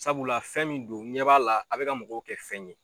Sabula fɛn min don ɲɛ b'a la a bi ka mɔgɔw kɛ fɛn ye